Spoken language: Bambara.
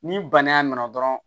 Ni bana nana dɔrɔn